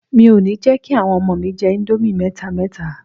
Mi ò ní jẹ́ kí àwọn ọmọ mi jẹ íńdómì mẹ́ta mẹ́ta.